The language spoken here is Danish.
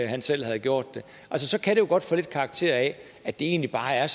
han selv havde gjort det så kan det jo godt få lidt karakter af at det egentlig bare er